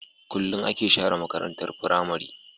Kulun ake share makarantar pramary